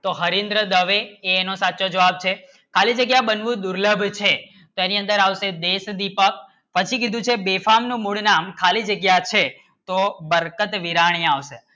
તો હરીન્દ્ર દવે એનો સાચો જવાબ છે ખાલી જગ્યા બનવું દુર્લભ છે તેની અંદર આવશે ડસ દિપક પછી કી દૂસરે બેફાણ નું મૂળ નામ ખાલી જગ્ય છે તો બરખત વિરાય આવે શે